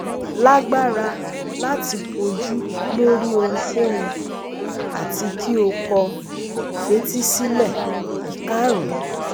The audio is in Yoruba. lagbara lati koju lori ohunkohun ati ki o ko fetísílẹ Ikarun